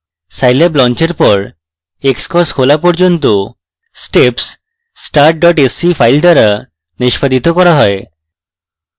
scilab লঞ্চের thr xcos খোলা পর্যন্ত steps start sce file দ্বারা নিষ্পাদিত করা যায়